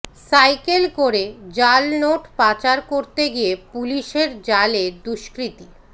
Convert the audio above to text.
cycle করে জালনোট পাচার করতে গিয়ে পুলিশের জালে দুষ্কৃতী